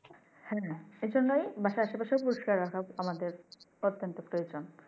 হ্যাঁ এই জন্যই বাসার আশে পাশে পরিস্কার রাখা আমাদের অত্যন্ত প্রয়োজন।